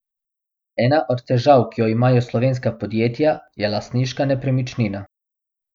Ena od težav, ki jo imajo slovenska podjetja, je lastniška nepremičnina.